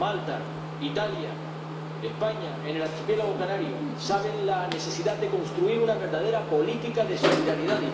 En Malta, Italia, España, en el archipiélago canario conocen la necesidad de construir una verdadera política de solidaridad.